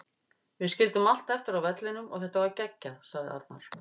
Við skildum allt eftir á vellinum og þetta var geggjað, sagði Arnar.